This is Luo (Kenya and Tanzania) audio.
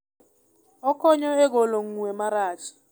Okonyo e golo ng'we marach.